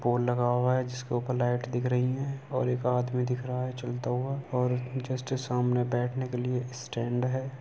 एक पोल लगा हुआ है जिसके ऊपर लाइट दिख रही है और एक आदमी दिख रहा है चलता हुआ और जस्ट सामने बैठने के लिए स्टैण्ड है।